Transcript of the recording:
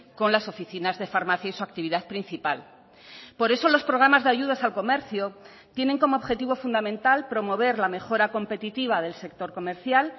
con las oficinas de farmacia y su actividad principal por eso los programas de ayudas al comercio tienen como objetivo fundamental promover la mejora competitiva del sector comercial